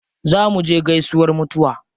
Za muje gaisuwar mutuwa.